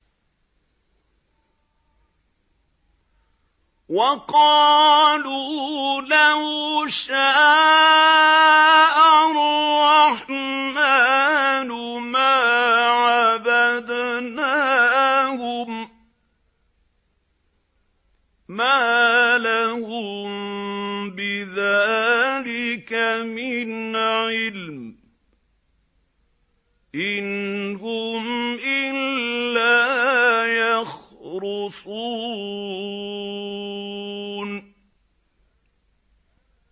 وَقَالُوا لَوْ شَاءَ الرَّحْمَٰنُ مَا عَبَدْنَاهُم ۗ مَّا لَهُم بِذَٰلِكَ مِنْ عِلْمٍ ۖ إِنْ هُمْ إِلَّا يَخْرُصُونَ